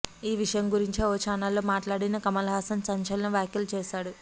ఈ విషయం గురించి ఓ చానల్ తో మాట్లాడిన కమల్హాసన్ సంచలన వ్యాఖలు చేశాడు